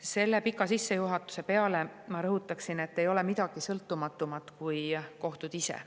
Selle pika sissejuhatuse peale ma rõhutan, et ei ole midagi sõltumatumat kui kohtud ise.